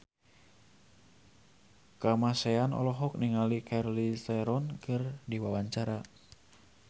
Kamasean olohok ningali Charlize Theron keur diwawancara